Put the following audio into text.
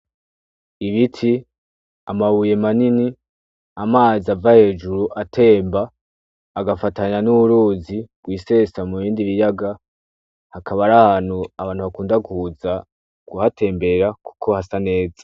Ibiti, amabuye manini, amazi ava hejuru atemba agafatanya n'uruzi rwisesa mubindi biyaga hakaba ari ahantu abantu bakunda kuza kuhatembera kuko hasa neza.